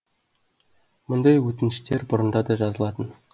мұндай өтініштер бұрында да жазылатын